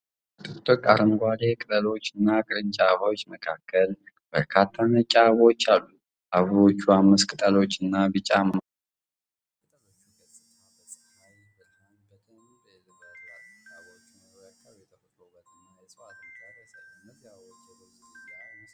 በጥቅጥቅ አረንጓዴ ቅጠሎችና ቅርንጫፎች መካከል በርካታ ነጭ አበባዎች አሉ። አበቦቹ አምስት ቅጠሎችና ቢጫ መሃል አላቸው። የቅጠሎቹ ገጽታ በፀሐይ ብርሃን በደንብ ያበራል። የአበባዎቹ መኖር የአካባቢው ተፈጥሮአዊ ውበትና የእፅዋት ብዛት ያሳያል። እነዚህ አበቦች የሮዝ ዝርያ ይመስላሉ።